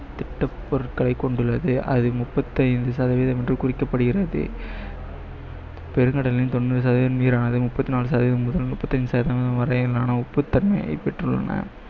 பொருட்களை கொண்டுள்ளது அது முப்பத்தி ஐந்து சதவிகிதம் என்று குறிக்கப்படுகிறது பெருங்கடலின் தொண்ணூறு சதவிகிதம் நீரானது முப்பத்தி நாலு சதவிகிதம் முதல் முப்பத்தி ஐந்து சதவிகிதம் வரையிலான உப்புத்தன்மையை பெற்றுள்ளன